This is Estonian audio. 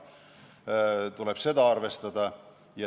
Seda tuleb arvestada.